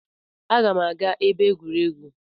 Aga m aga ebe egwuregwu